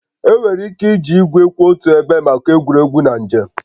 Enwere ike iji igwe kwụ otu ebe maka egwuregwu na njem